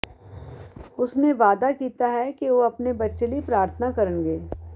ਉਸ ਨੇ ਵਾਅਦਾ ਕੀਤਾ ਹੈ ਕਿ ਉਹ ਆਪਣੇ ਬੱਚੇ ਲਈ ਪ੍ਰਾਰਥਨਾ ਕਰਨਗੇ